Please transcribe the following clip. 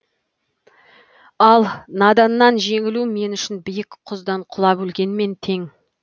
ал наданнан жеңілу мен үшін биік құздан құлап өлгенмен тең